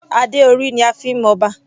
Adé orí ni a fi ń mọ Ọba.